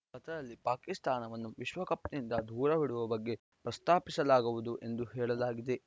ಪತ್ರದಲ್ಲಿ ಪಾಕಿಸ್ತಾನವನ್ನು ವಿಶ್ವಕಪ್‌ನಿಂದ ದೂರವಿಡುವ ಬಗ್ಗೆ ಪ್ರಸ್ತಾಪಿಸಲಾಗುವುದು ಎಂದು ಹೇಳಲಾಗಿದೆ